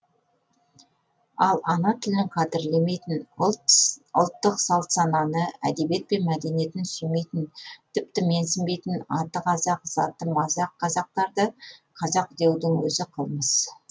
ал ана тілін қадірлемейтін ұлттық салт сананы әдебиет пен мәдениетін сүймейтін тіптен менсінбейтін аты қазақ заты мазақ қазақтарды қазақ деудің өзі қылмыс